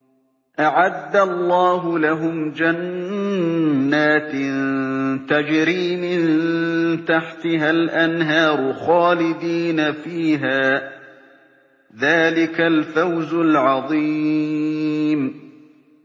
أَعَدَّ اللَّهُ لَهُمْ جَنَّاتٍ تَجْرِي مِن تَحْتِهَا الْأَنْهَارُ خَالِدِينَ فِيهَا ۚ ذَٰلِكَ الْفَوْزُ الْعَظِيمُ